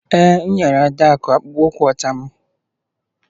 Ee, m nyere Adaku akpụkpọ ụkwụ ọcha m